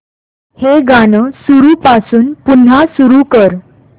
हे गाणं सुरूपासून पुन्हा सुरू कर